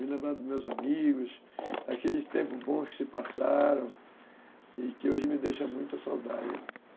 Me lembra dos meus amigos, aquele tempo bom que se passaram, e que hoje me deixa muita saudade.